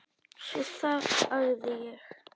Svo þagði ég.